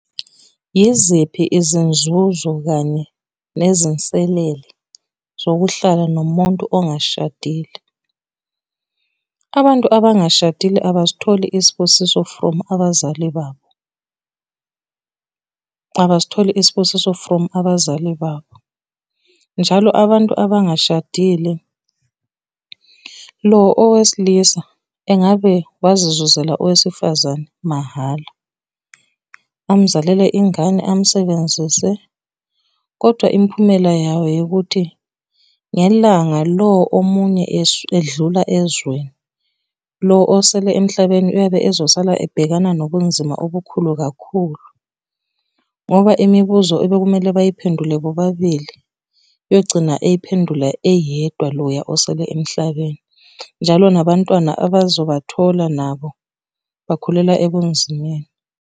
Yiziphi izinzuzo kanye nezinselele zokuhlala nomuntu ongashadile? Abantu abangashadile abasitholi isibusiso from abazali babo. Abasitholi isibusiso from abazali babo. Njalo abantu abangashadile, lo owesilisa engabe wazizuzela owesifazane mahhala. Amuzalele ingane, amusebenzise, kodwa imphumela yayo eyokuthi, ngelanga lo omunye edlula ezweni, lo osele emhlabeni uyobe ezosala ebhekana nobunzima obukhulu kakhulu. Ngoba imibuzo ebekumele bayiphendule bobabili, uyogcina eyiphendula eyedwa loya osele emhlabeni. Njalo nabantwana abazobathola nabo bakhulela ebunzimeni.